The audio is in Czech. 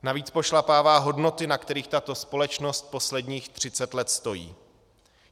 Navíc pošlapává hodnoty, na kterých tato společnost posledních třicet let stojí.